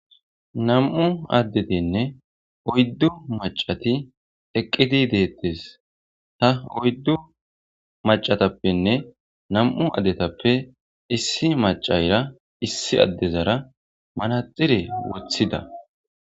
Nam'u addetinne oyddu macati eqqiti deettes ta oyddu macatappenne nam'u addetappe issi macayra issi addezara malaxire wothida.